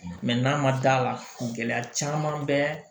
n'a ma d'a la gɛlɛya caman bɛ